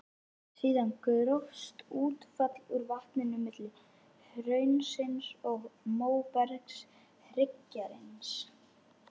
Síðan grófst útfall úr vatninu milli hraunsins og móbergshryggjarins.